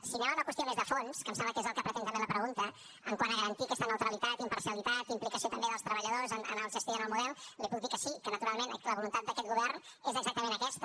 si anem a una qüestió més de fons que em sembla que és el que pretén també la pregunta quant a garantir aquesta neutralitat imparcialitat implicació també dels treballadors en la gestió i en el model li puc dir que sí que naturalment la voluntat d’aquest govern és exactament aquesta